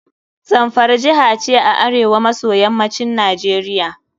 Zamfara jiha ce a arewa maso yammacin Najeriia.